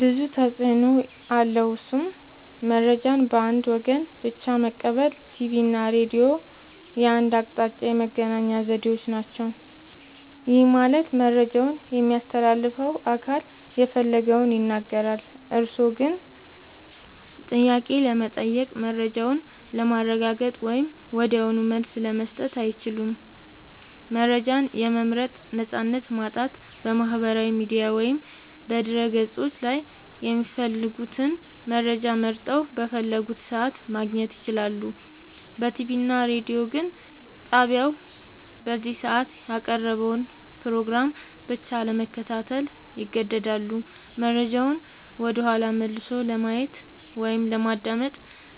ብዙ ተፅኖ አለዉ እሱም :-መረጃን በአንድ ወገን ብቻ መቀበል ቲቪ እና ሬዲዮ የአንድ አቅጣጫ የመገናኛ ዘዴዎች ናቸው። ይህ ማለት መረጃውን የሚያስተላልፈው አካል የፈለገውን ይናገራል፤ እርስዎ ግን ጥያቄ ለመጠየቅ፣ መረጃውን ለማረጋገጥ ወይም ወዲያውኑ መልስ ለመስጠት አይችሉም። መረጃን የመምረጥ ነፃነት ማጣት በማህበራዊ ሚዲያ ወይም በድረ-ገጾች ላይ የሚፈልጉትን መረጃ መርጠው፣ በፈለጉት ሰዓት ማግኘት ይችላሉ። በቲቪ እና ሬዲዮ ግን ጣቢያው በዚያ ሰዓት ያቀረበውን ፕሮግራም ብቻ ለመከታተል ይገደዳሉ። መረጃውን ወደኋላ መልሶ ለማየት ወይም ለማዳመጥ